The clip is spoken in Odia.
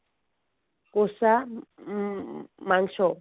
କଷା ଉଁ ମାଂସ